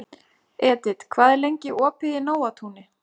Edit, hvað er lengi opið í Nóatúni?